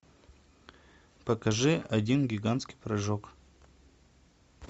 покажи один гигантский прыжок